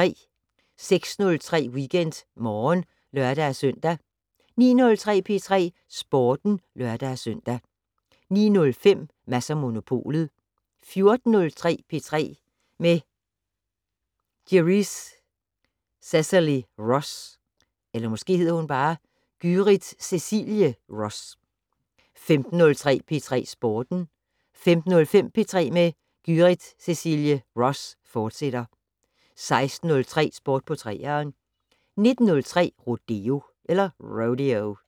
06:03: WeekendMorgen (lør-søn) 09:03: P3 Sporten (lør-søn) 09:05: Mads & Monopolet 14:03: P3 med Gyrith Cecilie Ross 15:03: P3 Sporten 15:05: P3 med Gyrith Cecilie Ross, fortsat 16:03: Sport på 3'eren 19:03: Rodeo